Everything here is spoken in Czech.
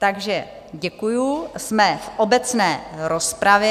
Takže děkuji, jsme v obecné rozpravě.